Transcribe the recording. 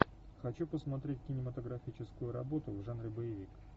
хочу посмотреть кинематографическую работу в жанре боевик